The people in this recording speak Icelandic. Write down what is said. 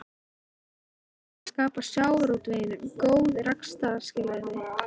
Er ekki tilgangurinn að skapa sjávarútveginum góð rekstrarskilyrði?